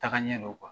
Taga ɲɛ dɔn